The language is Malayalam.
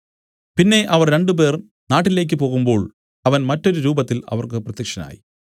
പിന്നെ അവരിൽ രണ്ടുപേർ നാട്ടിലേക്ക് പോകുമ്പോൾ അവൻ മറ്റൊരു രൂപത്തിൽ അവർക്ക് പ്രത്യക്ഷനായി